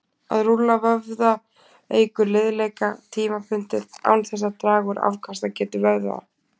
að rúlla vöðva eykur liðleika tímabundið án þess að draga úr afkastagetu vöðva